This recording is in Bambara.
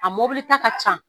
A ta ka can